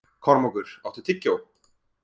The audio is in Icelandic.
Kormákur, áttu tyggjó?